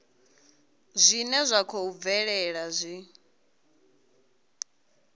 zwine zwa khou bvelela zwi